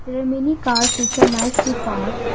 there are many cars which are nicely Parked.